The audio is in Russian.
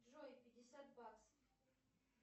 джой пятьдесят баксов